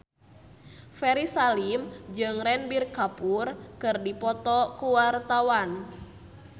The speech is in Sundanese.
Ferry Salim jeung Ranbir Kapoor keur dipoto ku wartawan